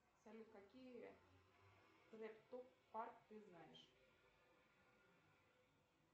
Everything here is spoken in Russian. салют какие трек топ парк ты знаешь